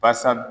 Basa